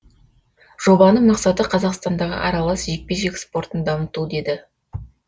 жобаның мақсаты қазақстандағы аралас жекпе жек спортын дамыту деді